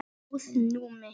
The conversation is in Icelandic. Ljóð: Númi